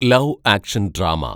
love action‍ drama